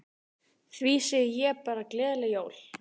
Því segi ég bara gleðileg jól.